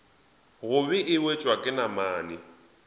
gobe e wetšwa ke namane